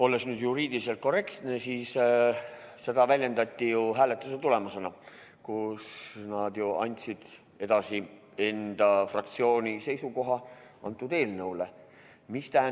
Olles nüüd juriidiliselt korrektne, siis seda väljendati ju hääletuse tulemusena, kus nad andsid edasi enda fraktsiooni seisukoha antud eelnõu kohta.